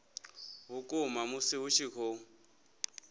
vhukuma musi hu tshi khou